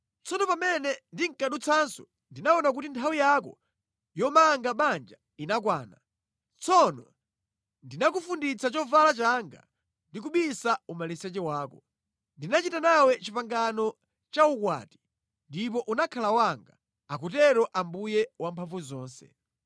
“ ‘Tsono pamene ndinkadutsanso ndinaona kuti nthawi yako yomanga banja inakwana. Tsono ndinakufunditsa chovala changa ndi kubisa umaliseche wako. Ndinachita nawe pangano la ukwati ndipo unakhala wanga, akutero Ambuye Wamphamvuzonse.